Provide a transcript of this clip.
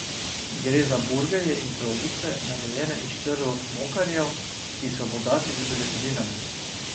Gre za burgerje in kroglice, narejene iz črvov mokarjev, ki so bogati z beljakovinami.